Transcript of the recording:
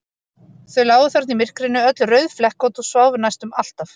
Þau lágu þarna í myrkrinu, öll rauðflekkótt, og sváfu næstum alltaf.